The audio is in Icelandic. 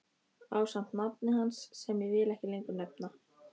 Ásamt nafni hans sem ég vil ekki lengur nefna.